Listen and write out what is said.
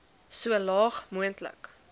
so laag moontlik